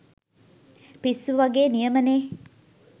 පිස්සු වගෙ නියමනෙ.